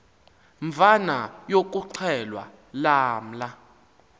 mvana yokuxhelwa lamla